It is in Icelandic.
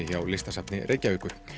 hjá Listasafni Reykjavíkur